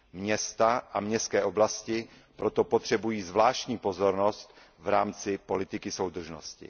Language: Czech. Města a městské oblasti proto potřebují zvláštní pozornost v rámci politiky soudržnosti.